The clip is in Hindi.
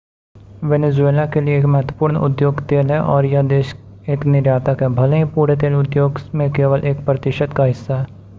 वेनेजुएला के लिए एक महत्वपूर्ण उद्योग तेल है और यह देश एक निर्यातक है भले ही पूरे तेल उद्योग में केवल एक प्रतिशत का हिस्सा है